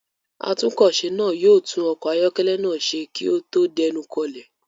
Atúnkọ̀se náà yóò tún ọkọ̀ ayọ́kẹ́lẹ́ náà ṣe kí ó tó dénú kọlẹ̀.